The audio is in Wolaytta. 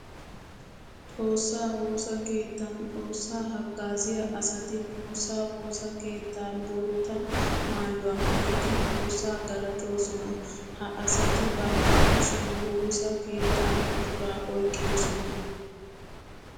Xoosa woosa keettan xoosa hagaaziya asatti xoosa woosa keetta bootta maayuwa maayiddi xoosa galatoosona. Ha asati bantta kushiyan woosa keetta buqura oyqqidosona.